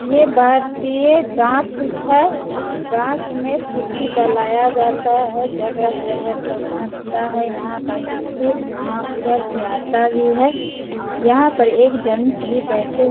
ये भारतीय डाक है इस डाक में चिठ्ठी डलाया जाता है जगह-जगह पे पहुंचता है यहाँ का चिठ्ठी वहाँ उधर से आता भी है यहाँ पर एक जेंट्स भी बैठे --